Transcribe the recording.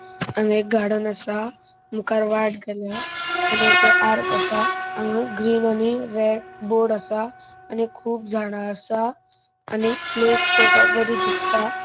हांगा एक गार्डन असा. मुखार वाट गेल्या आणि ते आर्क असा. हांगा ग्रीन आणि रेड बोर्ड असा. आणि खूब झाडा असा. आणि प्लेस पोवपाक बरी दिसता.